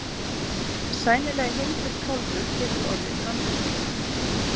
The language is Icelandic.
Sæmilega hyrndur kálfur getur orðið mannsbani.